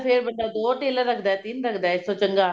ਫੇਰ ਬੰਦਾ ਦੋ tailor ਰੱਖਦਾ ਤਿੰਨ ਰੱਖਦਾ ਇਸ ਤੋਂ ਚੰਗਾ